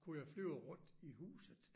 Kunne jeg flyve rundt i huset